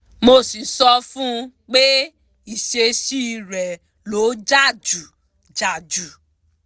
mo sì sọ fún un pé ìṣesí rẹ̀ ló jà jù jà jù